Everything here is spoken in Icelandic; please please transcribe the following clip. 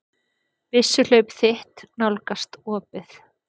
Byssuhlaup þitt nálgast opið.